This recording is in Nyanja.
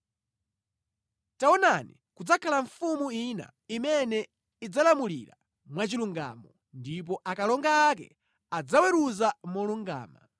Taonani, kudzakhala mfumu ina imene idzalamulira mwachilungamo, ndipo akalonga ake adzaweruza molungama.